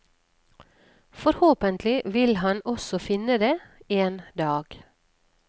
Forhåpentlig vil han også finne det, en dag.